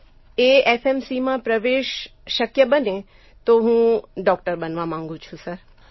જો એએફએમસીમાં પ્રવેશ શક્ય બને તો હું ડોકટર બનવા માંગું છું સર